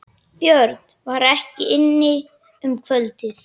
Björn var ekki inni um kvöldið.